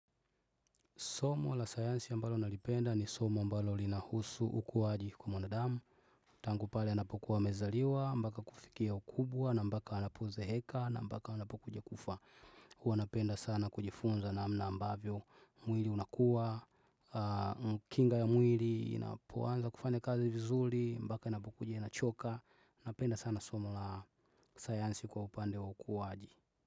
Somo la sayansi ambalo nalipenda ni somo ambalo lina husu ukuaji kwa mwanadamu. Tangu pale anapokuwa amezaliwa, mpaka kufikia ukubwa, na mpaka anapozeeka, na mpaka anapokuja kufa. Hua napenda sana kujifunza namna ambavyo mwili unakua. Kinga ya mwili inapoanza kufanya kazi vizuri, mpaka inapokuja inachoka. Napenda sana somo la sayansi kwa upande wa ukuaji.